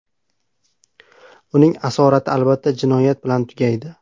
Uning asorati albatta jinoyat bilan tugaydi.